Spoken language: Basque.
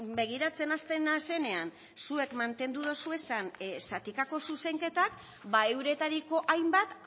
begiratzen hasten naizenean zuek mantendu dozuezan zatikako zuzenketak ba euretariko hainbat